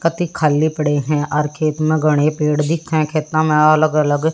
खाली पड़े हैं और खेत में घने पेड़ दिखे खेतों में अलग अलग--